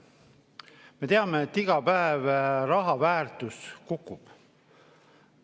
Me teame, et iga päev raha väärtus kukub.